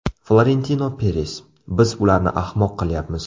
Florentino Peres: Biz ularni ahmoq qilyapmiz.